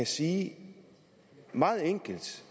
sige det meget enkelt